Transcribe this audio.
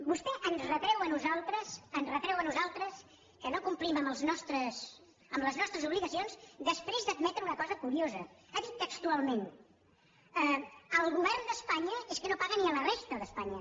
vostè ens retreu a nosaltres que no complim amb les nostres obligacions després d’admetre una cosa curiosa ha dit textualment el govern d’espanya és que no paga ni a la resta d’espanya